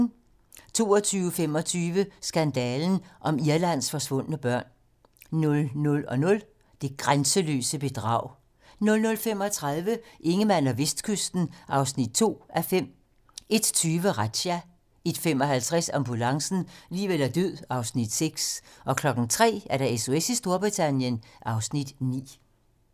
22:25: Skandalen om Irlands forsvundne børn 00:00: Det grænseløse bedrag 00:35: Ingemann og Vestkysten (2:5) 01:20: Razzia 01:55: Ambulancen - liv eller død (Afs. 6) 03:00: SOS i Storbritannien (Afs. 9)